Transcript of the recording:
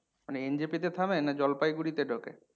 মানে NJP থামে না জলপাইগুড়ি তে ঢোকে?